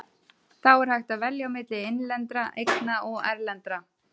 Þá er hægt að velja milli innlendra eigna og erlendra.